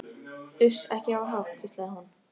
Uss, ekki hafa hátt, hvíslaði hún.